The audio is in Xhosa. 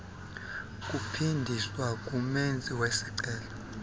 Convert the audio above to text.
kuphindiswa kumenzi wesicelo